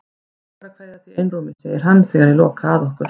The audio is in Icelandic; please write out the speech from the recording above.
Mig langar að kveðja þig í einrúmi, segir hann þegar ég loka að okkur.